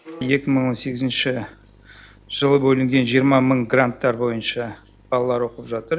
екі мың он сегізінші жылы бөлінген жиырма мың гранттар бойынша балалар оқып жатыр